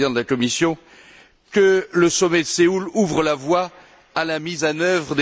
le président de la Commission, que le sommet de Séoul ouvre la voie à la mise en œuvre.